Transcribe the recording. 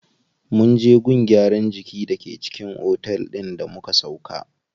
Munje gun gyaran jiki da ke cikin otel din da muka sauƙa.